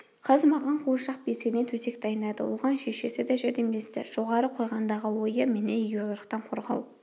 қыз маған қуыршақ бесігінен төсек дайындады оған шешесі де жәрдемдесті жоғары қойғандағы ойы мені егеуқұйрықтан қорғау